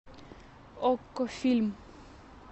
окко фильм